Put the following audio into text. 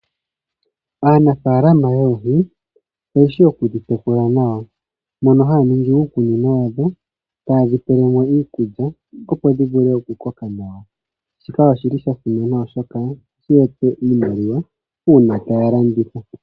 Aanafalama yoohii oyeshi okudhi tekula nawa mono haningi uukunino wadho tadhipelemo iikulya opo dhivule okukoka nawa , shika oshili shasimana oshoka oha shiyape iimaliwa una tayalanditha.